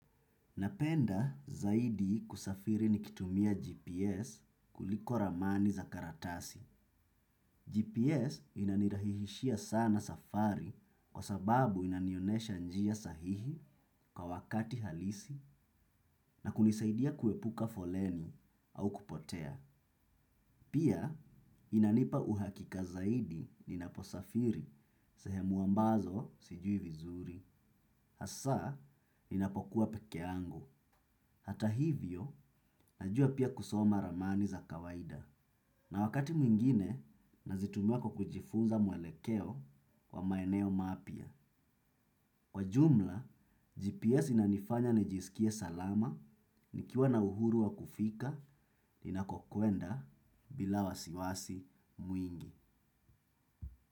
Napenda zaidi kusafiri nikitumia GPS kuliko ramani za karatasi. GPS inanirahisishia sana safari kwa sababu inanionesha njia sahihi kwa wakati halisi na kunisaidia kuepuka foleni au kupotea. Pia inanipa uhakika zaidi ninaposafiri sehemu ambazo sijui vizuri. Hasa, ninapokuwa peke yangu. Hata hivyo, najua pia kusoma ramani za kawaida. Na wakati mwingine, nazitumua kwa kujifunza mwelekeo kwa maeneo mapya. Kwa jumla, GPS inanifanya nijisikie salama, nikiwa na uhuru wa kufika, ninakokwenda bila wasiwasi mwingi.